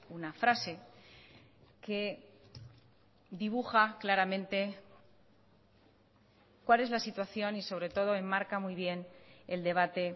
una frase que dibuja claramente cuál es la situación y sobre todo enmarca muy bien el debate